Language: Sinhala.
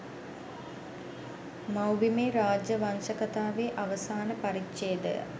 මවුබිමේ රාජ්‍ය වංශ කතාවේ අවසාන පරිච්ඡේදය